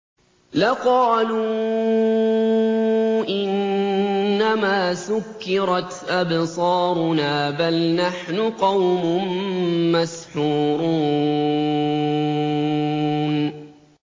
لَقَالُوا إِنَّمَا سُكِّرَتْ أَبْصَارُنَا بَلْ نَحْنُ قَوْمٌ مَّسْحُورُونَ